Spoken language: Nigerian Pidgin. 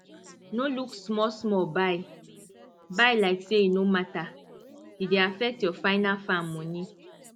no look smallsmall buy buy like say e no matter e dey affect your final farm money